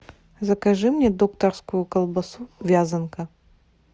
закажи мне докторскую колбасу вязанка